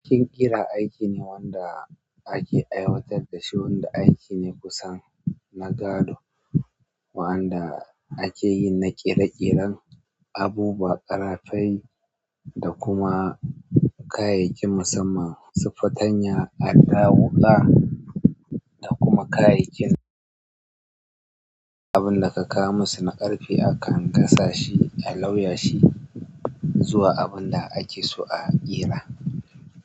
Bikin ƙira aiki ne wanda ake aiwatar da shi wanda aiki ne kusan na gado wanda ake yi na ƙere-ƙeren abubuwa, ƙarafai da kuma kayayyakin musamman su fatanya, adda wuƙa da kuma kayayyakin. Abin da ka kawo musu na ƙarfe akan gasa shi a lauya shi. Zuwa abin da ake so a ƙera.